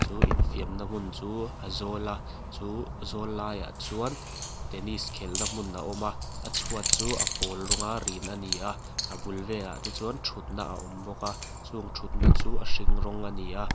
chu infiamna hmun chu a zawl a chu zawl laiah chuan tennis khelh na hmun a awm a a chhuat chu a pawl rawng a rin ani a a bul velah te chuan thutna a awm bawk a chung thutna chuan a hring rawng ani a.